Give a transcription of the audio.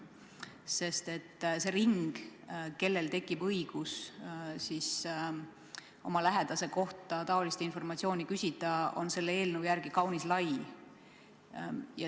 Sest see ring, kellel tekib õigus oma lähedase kohta seesugust informatsiooni küsida, on selle eelnõu järgi kaunis lai.